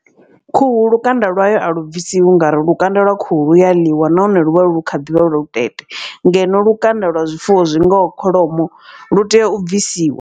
Khuhu lukanda lwayo a lu bvisiwi ngauri lukanda lwa khuhu lu ya ḽiwa nahone lu vha lu kha ḓivha lu lutete. Ngeno lukanda lwa zwifuwo zwingaho kholomo lu tea u bvisiwa.